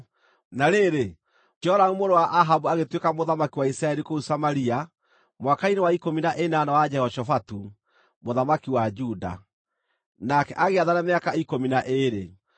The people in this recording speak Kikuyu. Na rĩrĩ, Joramu mũrũ wa Ahabu agĩtuĩka mũthamaki wa Isiraeli kũu Samaria mwaka-inĩ wa ikũmi na ĩnana wa Jehoshafatu, mũthamaki wa Juda, nake agĩathana mĩaka ikũmi na ĩĩrĩ.